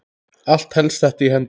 Allt helst þetta í hendur.